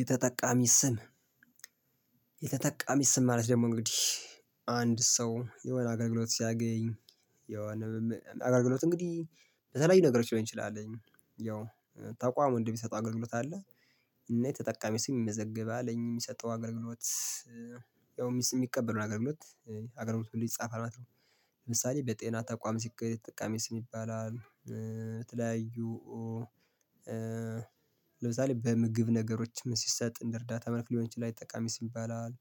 የተጠቃሚ ስም የተጠቃሚ ስም ማለት ደግሞ እንግዲህ አንድ ሰው የሆነ አገልግሎት ሲያገኝ የሆነ አገልግሎት እንግዲህ ለተለያዩ ነገሮች ሊሆን ይችላል ያው ተቋም እንደሚጠው አገልግሎት አለ። እና የተጠቃሚ ስም ይመዘግባል። የሚሰጠው አገልግሎት ያው የሚቀበለውን አገልግሎት አገልግሎቱ ይጻፋል ማለት ነው። ለምሳሌ በጤና ተቋም ሲኬድ የተጠቃሚ ስም ይባላል። የተለያዩ ለምሳሌ በምግብ ነገሮች ምን ሲሰጥ እንደ እርዳታ መልክ ሊሆን ይችላል የተጠቃሚ ስም ይባላል።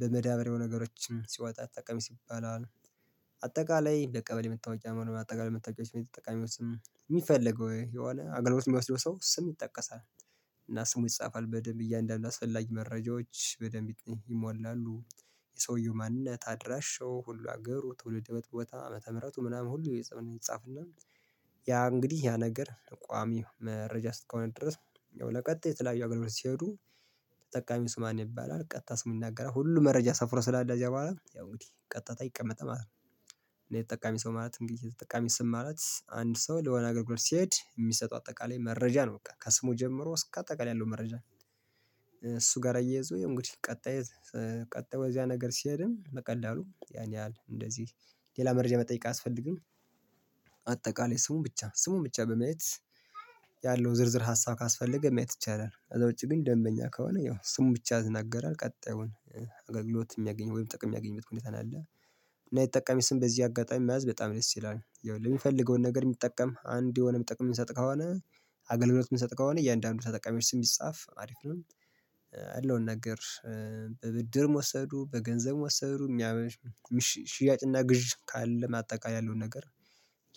በመዳበሪያው ነገሮችንም ሲወጣ የተጠቃሚ ስም ይባላል። አጠቃላይ ለቀበሌ መታወቂያም ሆነ በአጠቃላይ መታወቂያዎችን የተጠቃሚዎችን ስም የሚፈልገው የሆነ አገልግሎት የሚወስደው ሰው ስም ይጠቀሳል። እና ስሙ ይጻፋል በደንብ እያንዳንዱ አስፈላጊ መረጃዎች በደንብ ይሞላሉ። የሰውየው ማንነት አድራሻው ሁሉ ሀገሩ ትውልድ ቦታ አመተ-ምህረቱ ምናምኑ ሁሉ ይጻፍና ያ እንግዲህ ያ ነገር ቋሚ መረጃ እስከሆነ ድረስ ለቀጥዬ የተለያየ አገልግሎት ሲሄዱ ተጠቃሚው ስሙ ማን ይባላል። ቀጥታ ስሙን ይናገራል። ሁሉ መረጃ ሰፍሮ ስላለ ከዛ በኅላ ያው እንግዲህ ቀጥታ ይቀመጣል ማለት ነው። እኔና የተጠቃሚ ሰው ማለት እንግዲህ የተጠቃሚ ስም ማለት አንድ ሰው ለሆነ አገልግሎት ሲሄድ የሚሰጠው አጠቃላይ መረጃ ነው። በቃ ከስሙ ጀምሮ እስከ አጠቃላይ ያለው መረጃ እሱ ጋር እያይዞ እንግዲህ ቀጣይ ቀጣይ ወደዚያ ነገር ሲሄድም በቀላሉ ያን ያህል እንደዚህ ሌላ መረጃ መጠየቅ አያስፈልግም። አጠቃላይ ስሙን ብቻ በማየት ያለው ዝርዝር ሀሳብ ካስፈለገ ማየት ይቻላል። ከዛ ውጪ ግን ደንበኛ ከሆነ ያው ስሙን ብቻ ያናገራል ቀጣዩን አገልግሎት የሚያገኘው ወይም ጥቅም የሚያገኙት ሁኔታ ነው ያለ። እና የተጠቃሚ ስም በዚህ አጋጣሚ መያዝ በጣም ደስ ይላል። ያው የሚፈልገውን ነገር የሚጠቀም አንድ የሆነ የሚጠቅም የሚሰጥ ከሆነ አገልግሎት የሚሰጥ ከሆነ እያንዳንዱ ተጠቃሚዎች ስም ቢጻፍ አሪፍ ነው። ያለውን ነገር በብድርም ወሰዱ በገንዘብም ወሰዱ ሽያጭና ግዥ ካለ አጠቃላይ ያለውን ነገር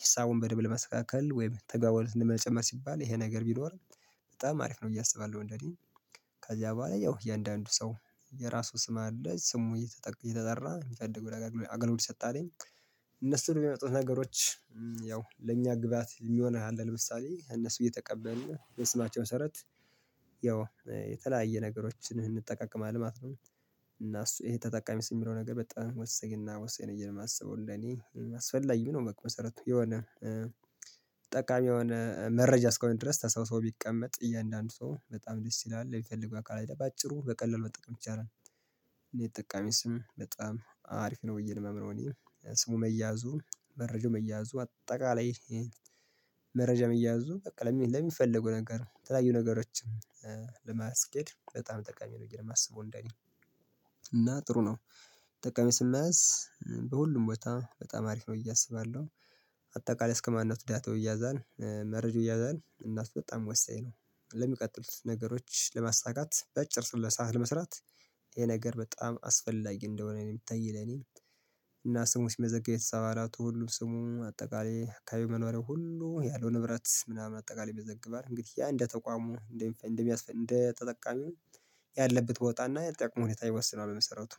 ሀሳቡን በደንብ ለማስተካከል ወይም ተጋቦቱን ለመጨመር ሲባል ይሄ ነገር ቢኖር በጣም አሪፍ ነው ብዬ አስባለሁ እንደኔ። ከዚያ በኋላ ያው እያንዳንዱ ሰው የራሱ ስም አለ ስሙ እየተጠራ የሚፈልገው ነገር አገልግሎት ይሰጣል። እነሱ የሚመጡት ነገሮች ያው ለእኛ ግብአት የሚሆን አለ ለምሳሌ ከእነሱ እየተቀበልን በስማቸው መሰረት ያው የተለያየ ነገሮችን እንጠቃቀማለን ማለት ነው። እና እሱ ይሄ ተጠቃሚ ስም የሚለው ነገር በጣም ወሳኝ ነውብዬ ነው የማስበው እንደእኔ አስፈላጊም ነው። መሰረት የሆነ ጠቃሚ የሆነ መረጃ እስሆነ ድረስ ተሰብስቦ ቢቀመጥ የእያንዳንዱ ሰው በጣም ደስ ይላል። የሚፈልገው አካል በአጭሩ በቀላሉ መጠቀም ይቻላል። እና የተጠቃሚ ስም በጣም አሪፍ ነው ብዬ ነው ማምነው እኔ። ስሙ መያዙ መረጃ መያዙ አጠቃላይ መረጃ መያዙ በቃ ለሚፈልጉ ነገር ለተለያዩ ነገሮች ለማስኬድ በጣም ጠቃሚ ነው ብዬ ነው የማስበው እንደኔ። እና ጥሩ ነው የተጠቃሚ ስም መያዝ በሁሉም ቦታ በጣም አሪፍ ነው ብዬ አስባለሁ። አጠቃላይ እስከማንነቱ ዳታው ይያዛል መረጃው ይያዛል መረጃው ይያዛል እናም በጣም ወሳኝ ነው። ለሚቀጥሉት ነገሮች ለማሳካት በአጭር ስራ ለመስራት ይሄ ነገር በጣም አስፈላጊ እንደሆነ የምታይ ለኔ። እና ስሙ ሲመዘገብ የቤተሰብ አባላቱ ሁሉም ስሙ፣ አጠቃላይ የአካባቢ መኖሪያው ሁሉ፣ ያለው ንብረት ምናምን አጠቃላይ ይመዘገባል። እንግዲህ ያ እንደ ተቋሙ እንደ ተጠቃሚው ያለበት ቦታና የጥቅም ሁኔታ ይወስነዋል በመሰረቱ